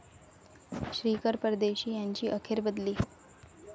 श्रीकर परदेशी यांची अखेर बदली